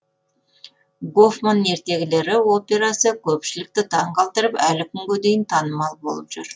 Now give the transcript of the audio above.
гофман ертегілері операсы көпшілікті таң қалдырып әлі күнге дейін танымал болып жүр